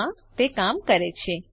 હા તે કામ કરે છે